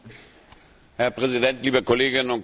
Herr Präsident, liebe Kolleginnen und Kollegen!